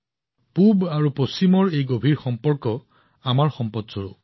পূব আৰু পশ্চিমৰ মাজৰ এই গভীৰ সম্পৰ্ক আমাৰ ঐতিহ্য